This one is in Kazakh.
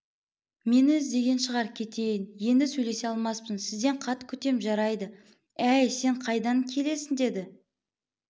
мені іздеген шығар кетейін енді сөйлесе алмаспын сізден хат күтем жарайды әй сен қайдан келесін деді